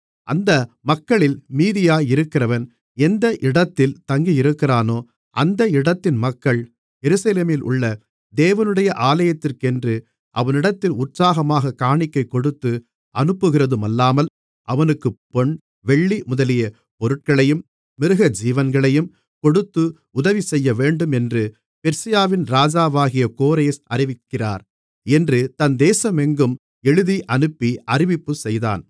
அந்த மக்களில் மீதியாயிருக்கிறவன் எந்த இடத்தில் தங்கியிருக்கிறானோ அந்த இடத்தின் மக்கள் எருசலேமிலுள்ள தேவனுடைய ஆலயத்துக்கென்று அவனிடத்தில் உற்சாகமாகக் காணிக்கை கொடுத்து அனுப்புகிறதுமல்லாமல் அவனுக்குப் பொன் வெள்ளி முதலிய பொருட்களையும் மிருகஜீவன்களையும் கொடுத்து உதவி செய்யவேண்டும் என்று பெர்சியாவின் ராஜாவாகிய கோரேஸ் அறிவிக்கிறார் என்று தன் தேசமெங்கும் எழுதியனுப்பி அறிவிப்பு செய்தான்